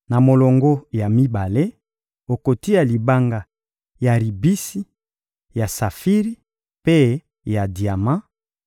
na molongo ya mibale, okotia libanga ya ribisi, ya safiri mpe ya diama;